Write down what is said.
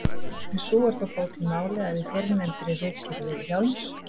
en sú er þó bót í máli, að í fyrrnefndri ritgerð Vilhjálms